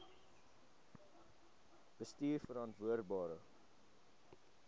bestuurverantwoordbare